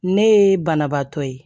Ne ye banabaatɔ ye